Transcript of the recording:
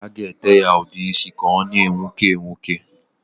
A ga-ete ya udeisi ka ọ na-enwuke enwuke.